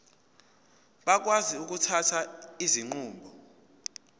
bakwazi ukuthatha izinqumo